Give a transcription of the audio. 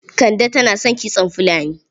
Kande tana son kitson fulani.